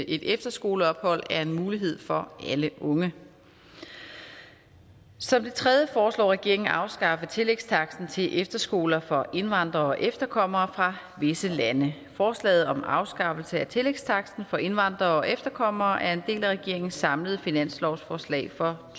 et efterskoleophold er en mulighed for alle unge som det tredje foreslår regeringen at afskaffe tillægstaksten til efterskoler for indvandrere og efterkommere fra visse lande forslaget om afskaffelse af tillægstaksten for indvandrere og efterkommere er en del af regeringens samlede finanslovsforslag for